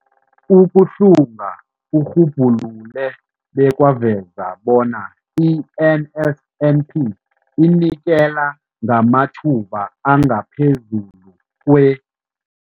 Ukuhlunga kurhubhulule bekwaveza bona i-NSNP inikela ngamathuba angaphezulu kwe-